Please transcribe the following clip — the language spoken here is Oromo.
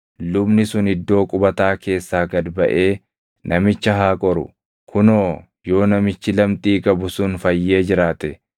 Lubni sun iddoo qubataa keessaa gad baʼee namicha haa qoru. Kunoo, yoo namichi lamxii qabu sun fayyee jiraate,